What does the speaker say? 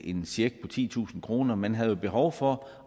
en check på titusind kroner man har jo behov for